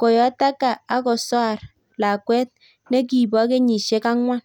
koyotaka akosar lakwet nekipoo kenyisiek angwan